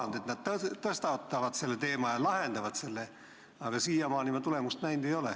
Paljud on lubanud, et nad tõstatavad selle teema ja lahendavad probleemi, aga siiamaani me tulemust näinud ei ole.